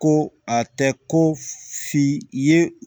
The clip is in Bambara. Ko a tɛ ko f'i ye